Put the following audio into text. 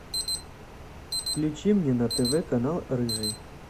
включи мне на тв канал рыжий